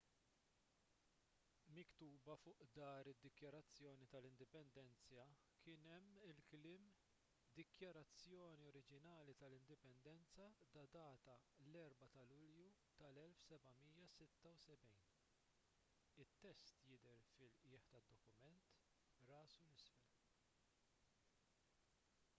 miktuba fuq dahar id-dikjarazzjoni tal-indipendenza kien hemm il-kliem dikjarazzjoni oriġinali tal-indipendenza ddatata l-4 ta' lulju tal-1776 it-test jidher fil-qiegħ tad-dokument rasu l isfel